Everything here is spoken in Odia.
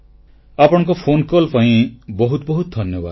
ଆପଣଙ୍କ ଫୋନକଲ୍ ପାଇଁ ବହୁତ ବହୁତ ଧନ୍ୟବାଦ